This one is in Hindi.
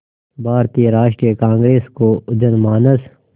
भारतीय राष्ट्रीय कांग्रेस को जनमानस